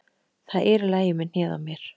Það er í lagi með hnéð á mér.